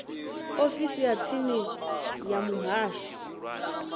ofisini ya tsini ya muhasho